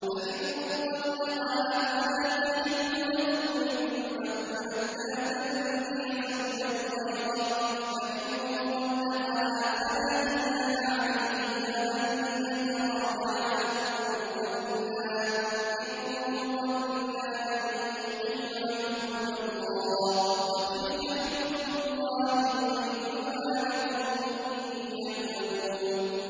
فَإِن طَلَّقَهَا فَلَا تَحِلُّ لَهُ مِن بَعْدُ حَتَّىٰ تَنكِحَ زَوْجًا غَيْرَهُ ۗ فَإِن طَلَّقَهَا فَلَا جُنَاحَ عَلَيْهِمَا أَن يَتَرَاجَعَا إِن ظَنَّا أَن يُقِيمَا حُدُودَ اللَّهِ ۗ وَتِلْكَ حُدُودُ اللَّهِ يُبَيِّنُهَا لِقَوْمٍ يَعْلَمُونَ